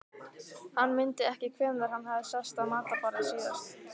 Hann mundi ekki hvenær hann hafði sest að matarborði síðast.